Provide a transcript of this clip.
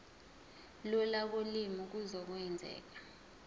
lula kolimi kuzokwenzeka